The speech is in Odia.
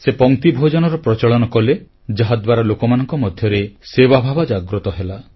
ସେ ପଂକ୍ତିଭୋଜନର ପ୍ରଚଳନ କଲେ ଯାହାଦ୍ୱାରା ଲୋକମାନଙ୍କ ମଧ୍ୟରେ ସେବାଭାବ ଜାଗ୍ରତ ହେଲା